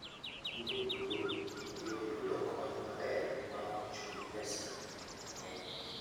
Kinde duto ibiro yudo kony maber maok chul pesa mang'eny.